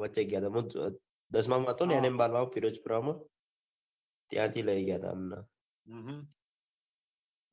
વચે ગયાતા દસમાં મા હતો ને બાર ગામ ફિરોઝપુરા નો ત્યાંથી લઇ ગયા હતા